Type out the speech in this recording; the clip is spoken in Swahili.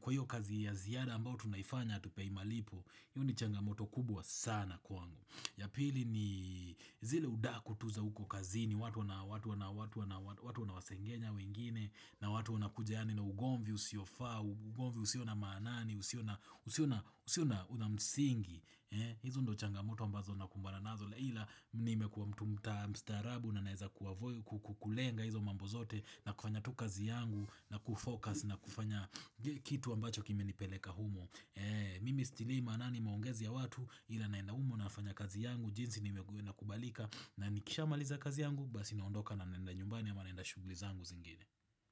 kwa hiyo kazi ya ziyada ambao tunaifanya atupei malipo, hio ni changamoto kubwa sana kwangu. Ya pili ni zile udaku tu za huko kazini, watu wanawasengenya wengine, na watu wanakuja yani na ugomvi usiofa, ugomvi usio na maanani, usio una msingi, hizo ndio changamoto ambazo nakumbana nazo, ila nimekuwa mtu mstaarabu na naeza kulenga hizo mambo zote na kufanya tu kazi yangu na kufocus na kufanya kitu ambacho kimenipeleka humo. Mimi stilii manani maongezi ya watu ila naenda humo nafanya kazi yangu jinzi inakubalika na nikisha maliza kazi yangu Basi naondoka na naenda nyumbani ama naenda shuguli zangu zingine.